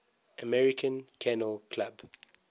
american kennel club